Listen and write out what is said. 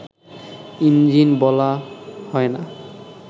engine বলা হয় না